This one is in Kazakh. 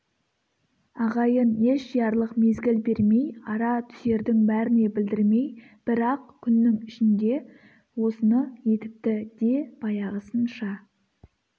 ағайын ес жиярлық мезгіл бермей ара түсердің бәріне білдірмей бір-ақ күннің ішінде осыны етіпті де баяғысынша